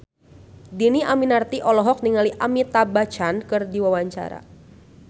Dhini Aminarti olohok ningali Amitabh Bachchan keur diwawancara